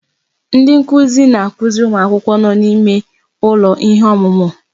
Ndi nkuzi na-akụziri ụmụ akwụkwọ n'ime ụlọ ihe ọmụmụ.